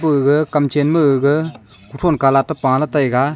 ama gaga kam chen ma gaga kuthow colour a pa lah taiga.